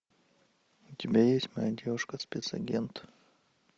у тебя есть моя девушка спецагент